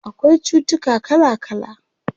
Akwai cutuka kala kala